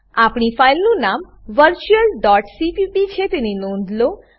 આપણી ફાઈલનું નામ virtualસીપીપી છે તેની નોંધ લો